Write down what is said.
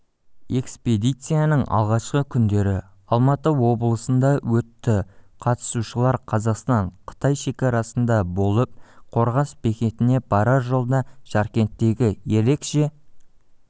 экспедицияның алғашқы күндері алматы облысында өтті қатысушылар қазақстан-қытай шекарасында болып қорғас бекетіне барар жолда жаркенттегі ерекше